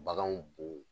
Baganw bo